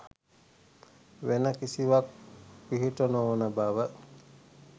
වෙන කිසිවක් පිහිට නොවන බව